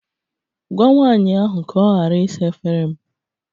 Gwa nwanyị ahụ ka ọ ghara ịsa efere m